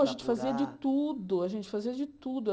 Não, a gente fazia de tudo, a gente fazia de tudo.